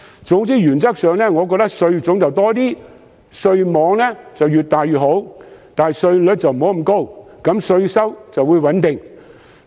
總之原則上，我認為稅種應該增加，稅網亦越大越好，但稅率不應太高，稅收便可以穩定。